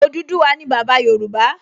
Odùduwà ni bàbá Yorùbá